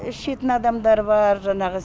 ішетін адамдар бар жаңағы